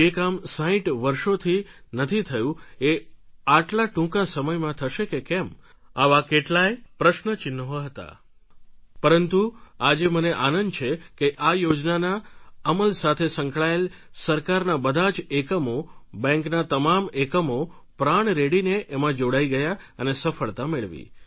જે કામ સાંઈઠ વર્ષોથી નથી થયું એ આટલા ટૂંકા સમયમાં થશે કે કેમ આવા કઈ પ્રશ્ન ચિન્હો હતાં પરંતુ આજે મને આનંદ છે કે આ યોજનાના અમલ સાથે સંકળાયેલા સરકારના બધા જ એકમો બેન્કના તમામ એકમો પ્રાણ રેડીને એમાં જોડાઈ ગયા અને સફળતા મેળવી